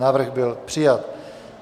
Návrh byl přijat.